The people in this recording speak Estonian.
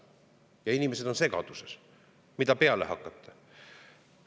Ja inimesed on segaduses – mida peale hakata?